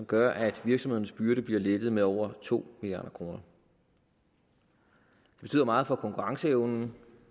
gør at virksomhedernes byrder bliver lettet med over to milliard kroner det betyder meget for konkurrenceevnen